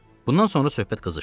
Bundan sonra söhbət qızışdı.